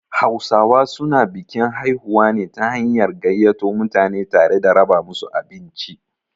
Hausawa su na bikin haihuwa ne ta hanyar gaiyato mutane tare da raba musu abinci